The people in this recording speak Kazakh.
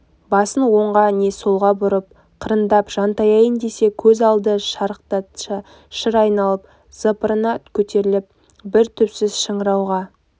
басын оңға не солға бұрып қырындап жантаяйын десе көз алды шарықтасша шыр айналып запыраны көтеріліп бір түпсіз шыңырауға